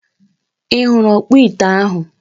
I huru okpo ite ahu?